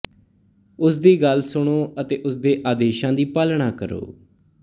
ਉਸ ਦੀ ਗੱਲ ਸੁਣੋ ਅਤੇ ਉਸਦੇ ਆਦੇਸ਼ਾਂ ਦੀ ਪਾਲਣਾ ਕਰੋ